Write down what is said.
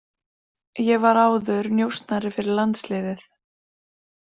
Ég var áður njósnari fyrir landsliðið.